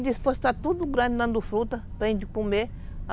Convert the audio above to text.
E disse, pois está tudo grande dando fruta, para a gente comer.